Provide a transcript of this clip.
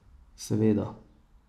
Seveda.